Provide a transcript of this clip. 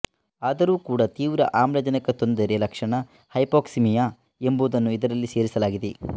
ಆದರೂ ಕೂಡಾ ತೀವ್ರ ಆಮ್ಲಜನಕ ತೊಂದರೆ ಲಕ್ಷಣ ಹೈಪೊಕ್ಸಿಮಿಯಾ ಎಂಬುದನ್ನು ಇದರಲ್ಲಿ ಸೇರಿಸಲಾಗಿದೆ